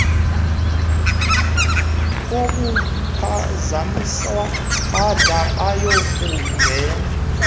kokuphazanyiswa bada bayokungena